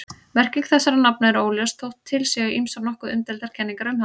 Merking þessara nafna er óljós þótt til séu ýmsar nokkuð umdeildar kenningar um hana.